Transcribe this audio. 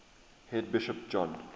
head bishop john